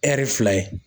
fila ye